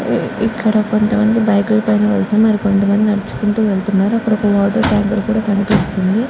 ఇక్కడ కొంత మంది బైక్ ల పైన వేల్లుతు మరి కొంత మంది నడుచుకుంటూ వేల్లుతునారు. అక్కడ వాటర్ ట్యాంక్ కూడా కనిపిస్తుంది.